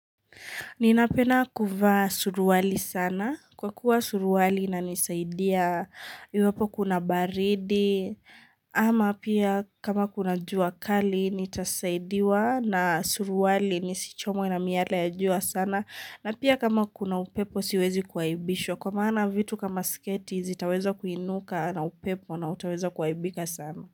Ninapenda kuvaa suruali sana kwa kuwa suruali inanisaidia iwapo kuna baridi ama pia kama kuna jua kali nitasaidiwa na suruali nisichomwe na miyale ya jua sana na pia kama kuna upepo siwezi kuaibishwa kwa maana vitu kama sketi zitaweza kuinuka na upepo na utaweza kuaibika sana.